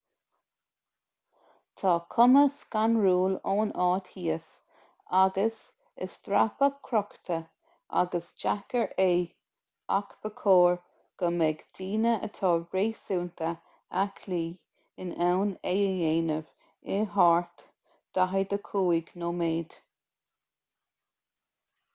tá cuma scanrúil ón áit thíos agus is dreapadh crochta agus deacair é ach ba chóir go mbeidh daoine atá réasúnta aclaí in ann é a dhéanamh i thart 45 nóiméad